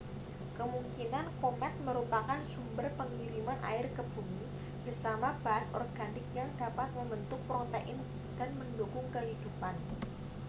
kemungkinan komet merupakan sumber pengiriman air ke bumi bersama bahan organik yang dapat membentuk protein dan mendukung kehidupan